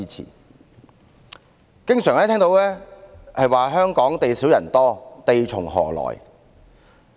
我們經常聽到香港地少人多，地從何來的問題。